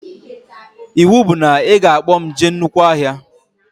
Iwu bụ na ị ga-akpọ mụ jee na nnukwu ọhịa